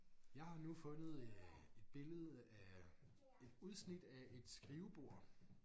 Jeg har nu fundet øh et billede af et udsnit af et skrivebord